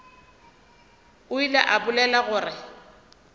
o ile a bolela gore